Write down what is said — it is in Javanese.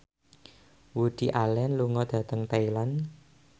Woody Allen lunga dhateng Thailand